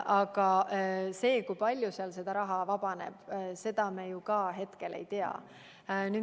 Aga seda, kui palju sealt raha vabaneb, me ju hetkel ei tea.